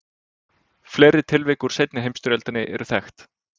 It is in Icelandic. Fleiri tilvik úr seinni heimsstyrjöldinni eru þekkt.